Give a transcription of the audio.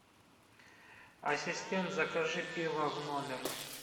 ассистент закажи пиво в номер